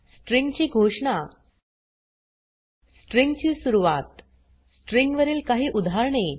string ची घोषणा string ची सुरवात स्ट्रिंग वरील काही उदाहरणे